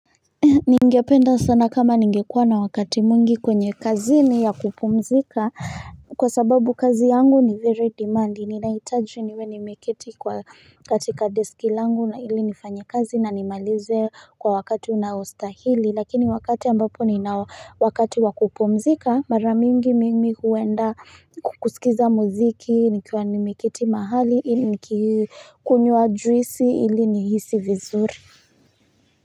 Ningependa sana kama ningekuwa na wakati muingi kwenye kazini ya kupumzika Kwa sababu kazi yangu ni very demand nilaitaji niwe nimeketi kwa katika deskilangu na ili nifanyekazi na nimalize kwa wakati unaostahili Lakini wakati ambapo ni na wakati wakupumzika maramingi mimi huenda kukusikiza muziki nikiwa nimeketi mahali niki kunywa juisi ili nihisi vizuri.